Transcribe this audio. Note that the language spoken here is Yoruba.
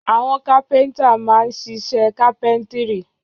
Àwọn kápẹ́ńtà máa ń ṣiṣẹ́ kápẹ́ńtírì.